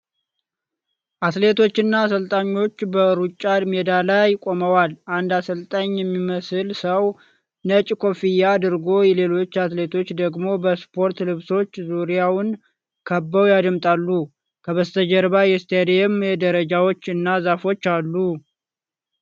አትሌቶች እና አሰልጣኞች በሩጫ ሜዳ ላይ ቆመዋል። አንድ አሰልጣኝ የሚመስል ሰው ነጭ ኮፍያ አድርጎ ሌሎች አትሌቶች ደግሞ በስፖርት ልብሶች ዙሪያውን ከበው ያዳምጣሉ። ከበስተጀርባ የስታዲየም ደረጃዎች እና ዛፎች አሉ።